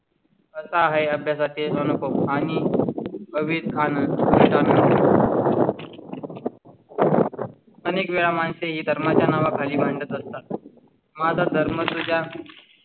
अनेक वेळा माणसे ही धर्माच्या नावाखाली मांडत असतात माझा धर्म तुझ्या